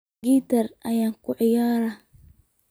Gitar kuciyarahy.